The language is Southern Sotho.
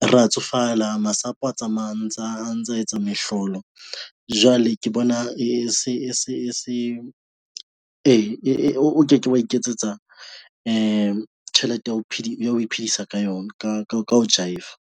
re ya tsofala masapo a tsamaya a ntsa etsa mehlolo jwale ke bona e se o ke ke wa iketsetsa tjhelete ya ho iphedisa ka yona ka jive-a.